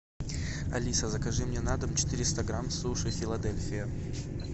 алиса закажи мне на дом четыреста грамм суши филадельфия